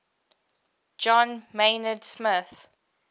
john maynard smith